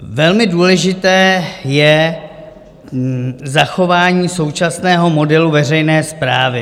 Velmi důležité je zachování současného modelu veřejné správy.